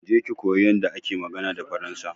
Je ki koyi yanda ake magana da faransa.